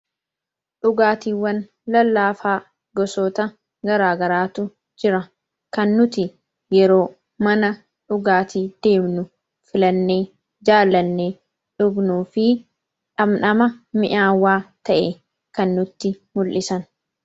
Dhugaatiiwwan lallaafaa gosoota garaagaraatu jira kannuti yeroo mana dhugaatii deemnu filannee jaalannee dhugnuu fi dhabdhama mi'aawwaa ta'e kannutti mul'isanidha.